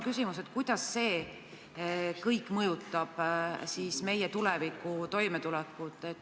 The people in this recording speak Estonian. Kuidas see kõik mõjutab meie tuleviku toimetulekut?